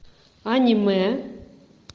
аниме